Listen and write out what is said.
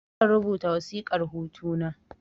Zan rubuta wasiƙar hutu na